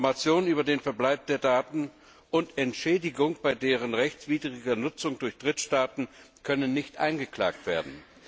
Informationen über den Verbleib der Daten und Entschädigung bei deren rechtswidriger Nutzung durch Drittstaaten können nicht eingeklagt werden.